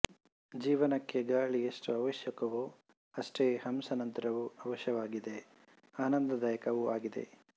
ಜೀವನಕ್ಕೆ ಗಾಳಿ ಎಷ್ಟು ಅವಶ್ಯಕವೋ ಅಷ್ಟೆ ಹಂಸನಂತ್ರವೂ ಅವಶ್ಯಕವಾಗಿದೆ ಆನಂದದಾಯಕ ವಾಗಿದೆ